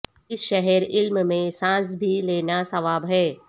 اس شہر علم میں سانس بھی لینا ثواب ہے